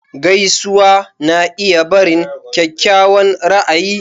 Gaisuwa na iya barin kyakkyawan ra'ayi.